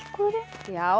já